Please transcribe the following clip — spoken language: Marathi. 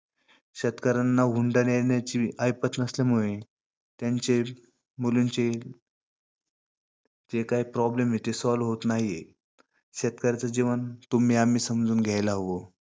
शेतकऱ्यांना हुंडा देण्याची ऐपत नसल्यामुळे त्यांचे मुलींचे जे काय problem आहेत ते solve होत नाहीयेत.